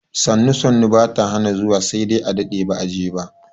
Sannu sannu ba ta hana zuwa sai dai a daɗe ba a je ba.